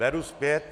Beru zpět.